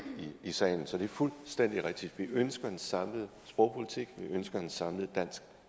i salen så det er fuldstændig rigtigt vi ønsker en samlet sprogpolitik vi ønsker en samlet dansk